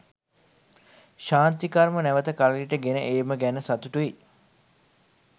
ශාන්ති කර්ම නැවත කරලියට ගෙන ඒම ගැන සතුටුයි.